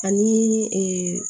Ani